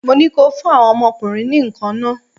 Mo ní kó o fún àwọn ọmọ ọkùnrin ní nǹkan nah!